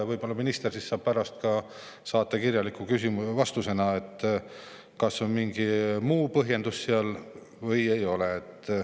Võib-olla minister saab pärast saata kirjaliku vastuse, kas on mingi muu põhjendus seal või ei ole.